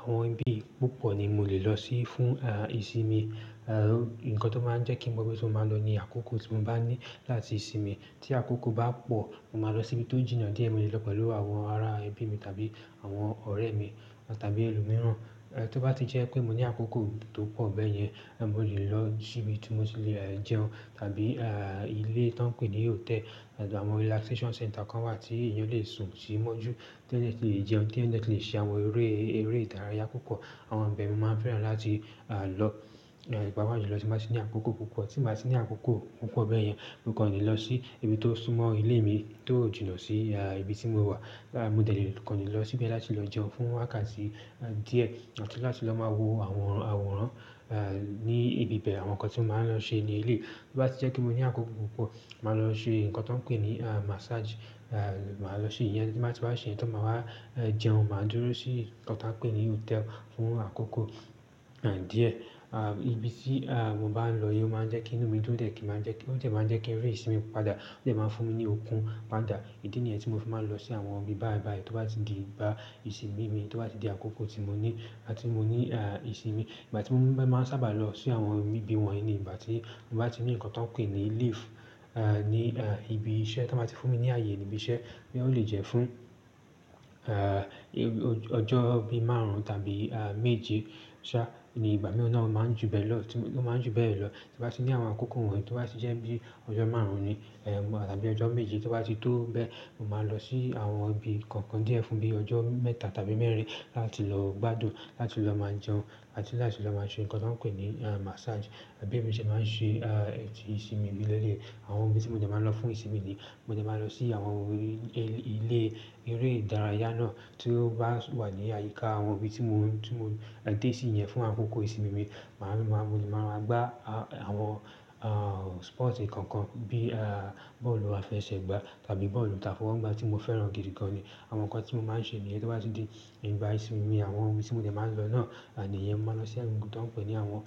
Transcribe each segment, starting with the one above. Àwọn ibi púpọ̀ ni mo lè lọ sí fún ìsinmi, nǹkan tó máa ń jẹ́ kí mo ibi tí mo ma lo ní àkókò tí mo bani láti sinmi tí àkókò bá pọ̀, mo máa lọ síbi tó jìnnà díẹ̀. Mo lè lọ pẹ̀lú àwọn ará ẹbí mi tàbí àwọn ọ̀rẹ́ mi tàbí ẹlòmíràn. Tó bá ti jẹ́ pé mo ní àkókò tó pọ̀ bẹ́ẹ̀ yẹn, mo lè lọ sí ibi tí mo ti lè jẹun tàbí ilé tó ń pè ní hotel. Àwọn relaxation center kan wà tí èèyàn lè sùn sí mọ́jú, tí èyàn dẹ̀ tí lè jẹun, tí èyàn dẹ̀ tí lè ṣe àwọn eré ìdárayá púpọ̀. Àwọn ibẹ̀ mi máa ń fẹ́ràn láti lọ pàpàjùlọ tí n bá tí ní àkókò púpọ̀. Tí mo bá ti ní àkókò púpọ̀ bẹ́ẹ̀ yẹn, mo kò ní lọ sí ibi tó súnmọ́ ilé mi, tó jìnà sí ibi tí mo wà. Mo dẹ̀ le kan le lọ síbẹ̀ láti lọ jẹun fún wákàtí díẹ̀ àti láti lọ máa wo àwọn àwòrán ní ibibẹ́ẹ̀, àwọn nǹkan tí mo máa ń lọ ṣe ní eleyi. To bá ti jẹ́ pé mo ní àkókò púpọ̀, màá lọ ṣe ǹkan tó ń pè ní massage. Màá lọ ṣe ìyẹn tí mo bá ti wá ṣe ìyẹn tán, máa wá jẹun, màá dúró sí nkan tan ń pè ní hotel fún àkókò díẹ̀. Ibi tí mo bá ń lọ yóò máa ń jẹ́ kí inú mi dúdẹ̀ kí máa jẹ́ kí ó dẹ̀ máa ń jẹ́ kí n rí ìsinmi padà ó dẹ̀ máa ń fún mi ní okun padà. Ìdí ni nìyẹn tí mo fi máa ń lọ sí àwọn ibi báìbàì tó bá ti di ìgbà ìsinmi mi, tó bá ti di àkókò tí mo ní láti mo ní ìsinmi. Ìgbà tí mo máa ń sábà lọ sí àwọn ibi wọ̀nyí ni ìgbà tí n bá ti ní ǹkan tó ń pè ní leave ní ibi iṣẹ́ tí wọ́n bá ti fún mi ní ààyè ní ibi iṣẹ́, bí ó lè jẹ́ fún ehn ọjọ́ bí márùn-ún tàbí méje ṣá. Iye ìgbà náà máa ń jù bẹ́ lọ tí mo bá ti ní àwọn àkókò wọ̀nyí tó bá ti jẹ́ bí ọjọ́ márùn-ún ni tàbí ọjọ́ méje tó bá ti tó bẹ́ẹ̀, mo máa lọ sí àwọn ibi kankan díẹ̀ fún bí ọjọ́ mẹ́ta tàbí mẹ́rin láti lọ gbádùn, láti lọ máa jẹun àti láti lọ máa ṣe ǹkan tó ń pè ní massage. Bí èmi ṣe máa ń ṣe ètì ìsinmi mi lẹ́lẹ̀. Àwọn ibi tí mo dẹ̀ máa lọ fún ìsinmi ni mo dẹ̀ máa lọ sí àwọn ilé eré ìdárayá náà tí ó bá wà ní àyíká àwọn ibi tí mo ń dé sí yẹn fún àkókò ìsinmi mi. Uhmm, máa, mo lè máa gbá àwọn sport kankan bíi ballu afẹsẹ̀gbá tàbí ballu afọwọ́gbá tí mo fẹ́ràn gidigan. Àwọn nǹkan tí mo máa ń ṣe ní niyen tó bá ti di ìgbà ìsinmi mi, àwọn ibi tí mo dẹ̀ máa ń lọ náà ni ìyẹn. Mo máa lọ sí ibi tí wọ́n ń pè ní àwọn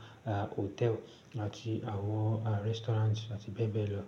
hotel àti àwọn restaurant àti bẹ́ẹ̀ bẹ́ẹ̀ lọ.